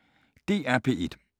DR P1